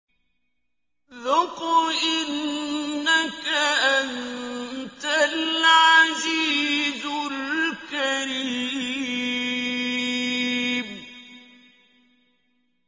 ذُقْ إِنَّكَ أَنتَ الْعَزِيزُ الْكَرِيمُ